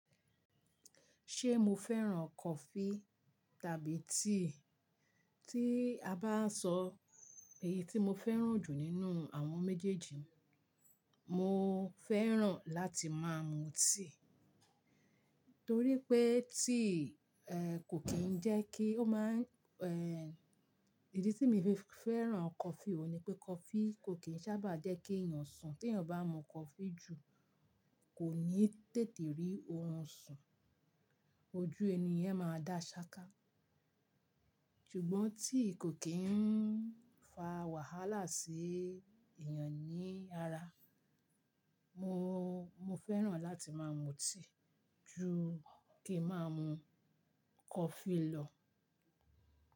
Ṣé mo fẹ́ràn coffee tàbí tea? Tí a bá sọ èyí tí mo fẹ́ràn jù nínú àwọn méjèèjì, mo fẹ́ràn láti máa mu tea. Torí pé tea, ẹ́, kò kí ń jẹ́ kí ó má ẹ́. Ìdí tí mo fẹ́ràn coffee wo ni pé coffee kò kí ń sábà jẹ́ kí èèyàn sùn. Tí èèyàn bá mu coffee jù kò ní tètè rí ohun sùn, ojú ẹni yẹn máa dá ṣáká. Ṣùgbọ́n tea kò kí ń fa wàhálà sí èèyàn ní ara. Mo, mo fẹ́ràn láti máa mu tea ju kí máa mu coffee lọ.